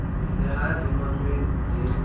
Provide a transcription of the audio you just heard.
le ha di ngotswe di